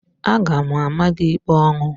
Aga m ama gị ikpe ọnwụ!